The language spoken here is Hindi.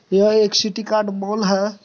यह एक सिटीकार्ट मॉल है।